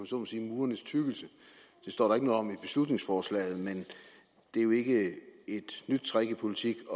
så må sige murenes tykkelse det står der om i beslutningsforslaget men det er jo ikke et nyt trick i politik at